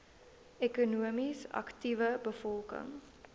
ekonomies aktiewe bevolking